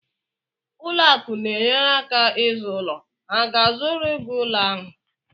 Ụlọ akụ na-enyere aka izu ulo, ha ga-azụrụ gị ụlọ ahụ?